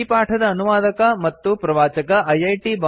ಈ ಪಾಠದ ಅನುವಾದಕ ಮತ್ತು ಪ್ರವಾಚಕ ಐಐಟಿ